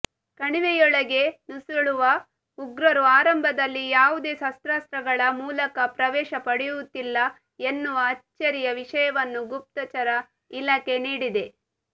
ಕಣಿವೆಯೊಳಗೆ ನುಸುಳುವ ಉಗ್ರರು ಆರಂಭದಲ್ಲಿ ಯಾವುದೇ ಶಸ್ತ್ರಾಸ್ತ್ರಗಳ ಮೂಲಕ ಪ್ರವೇಶ ಪಡೆಯುತ್ತಿಲ್ಲ ಎನ್ನುವ ಅಚ್ಚರಿಯ ವಿಷಯವನ್ನು ಗುಪ್ತಚರ ಇಲಾಖೆ ನೀಡಿದೆ